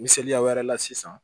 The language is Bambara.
Misaliya wɛrɛ la sisan